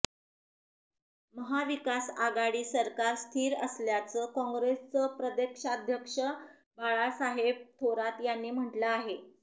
महाविकास आघाडी सरकार स्थिर असल्याचं काँग्रेसचे प्रदेशाध्यक्ष बाळासाहेब थोरात यांनी म्हटलं आहे